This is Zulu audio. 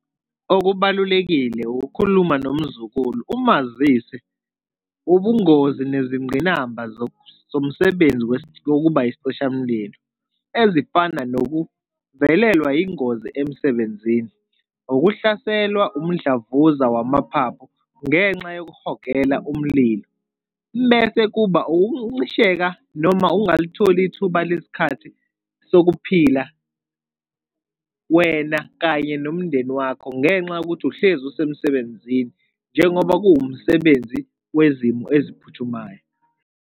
Okubalulekile ukukhuluma nomzukulu umazise ubungozi nezingqinamba zomsebenzi wokuba isicishamlilo ezifana nokuvelelwa yingozi emsebenzini, ukuhlaselwa umdlavuza wamaphaphu ngenxa yokuhogela umlilo, bese kuba ukuncisheka noma ukungalitholi ithuba lesikhathi sokuphila wena kanye nomndeni wakho ngenxa yokuthi uhlezi usemsebenzini, njengoba kuwumsebenzi wezimo eziphuthumayo.